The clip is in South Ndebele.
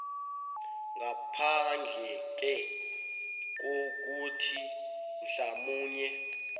ngaphandleke kokuthi mhlamunye